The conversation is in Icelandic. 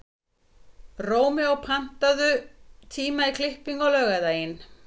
Rómeó, pantaðu tíma í klippingu á laugardaginn.